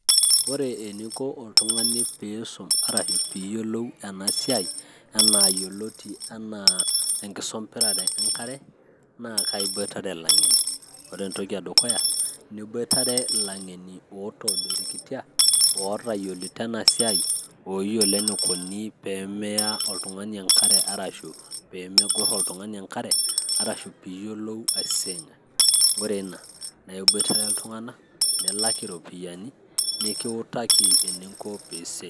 ore eninko oltung'ani piisum arashi piiyiolou ena siai enaa yioloti enaa enkisombirare enkare naa kaiboitare ilang'eni ore entoki e dukuya niboitare ilang'eni otoodorikitia otayiolito ena siai oyiolo enikuni peemeya oltung'ani enkare arashu peemegorr oltung'ani enkare, arashu piiyiolou aaising'a ore ina naa iboitare iltung'anak nilak iropiyiani nikiutaki eninko piisi.